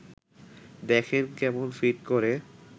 দেখেন, কেমন ফিট করে